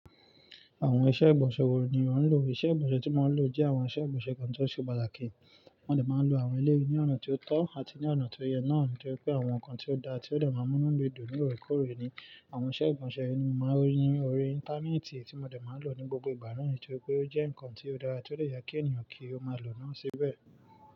Àwọn iṣẹ́ ìgbọ̀nsẹ̀ wo ni ò ń lò? Iṣẹ́ ìgbọ̀nsẹ̀ tí mo ń lò jẹ́ àwọn iṣẹ́ ìgbọ̀nsẹ̀ kan tó ṣe pàtàkì. Mo dẹ̀ máa ń lo àwọn eleyii ní ọ̀nà tó tọ́ àti ní ọ̀nà tó yẹ náà, torí pé àwọn nǹkan tí ó da tí ó dẹ̀ máa ń múnu mi dun ní oore kòre ni. Àwọn iṣẹ́ ìgbọ̀nsẹ̀ yìí ni mo máa ń rí ní orí Íńtánẹ́ẹ̀tì tí mo dẹ̀ máa ń lò ní gbogbo ìgbà náà, nitorí pé ó jẹ́ nǹkan tí ó dára tí ó lè je kí ènìyàn kí ó máa lò ó síbẹ̀